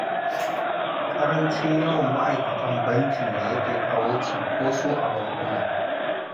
Ƙarancin yawan ma'aikatan bankin ne yake kawo cinkoso a bankuna